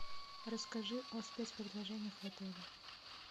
расскажи о спецпредложениях в отеле